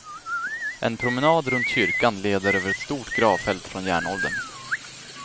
En promenad runt kyrkan leder över ett stort gravfält från järnåldern.